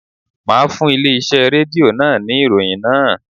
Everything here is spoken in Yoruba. Máa fún ilé iṣẹ́ Rédíò náà ní ìròyìn náà.